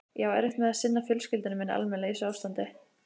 Ég á erfitt með að sinna fjölskyldu minni almennilega í þessu ástandi.